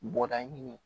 Bɔda ɲini